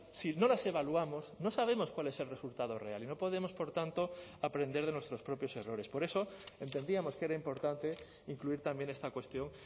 si no las evaluamos no sabemos cuál es el resultado real y no podemos por tanto a aprender de nuestros propios errores por eso entendíamos que era importante incluir también esta cuestión